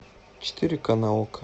четыре ка на окко